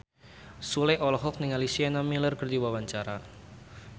Sule olohok ningali Sienna Miller keur diwawancara